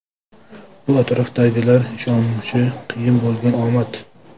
Bu atrofdagilar ishonishi qiyin bo‘lgan omad.